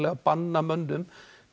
að banna mönnum